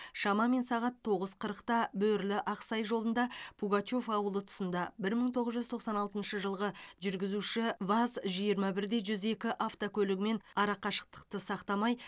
шамамен сағат тоғыз қырықта бөрлі ақсай жолында пугачев ауылы тұсында бір мың тоғыз жұз тоқсан алтыншы жылғы жүргізуші ваз жиырма бір де жүз екі автокөлігімен арақашықтықтықты сақтамай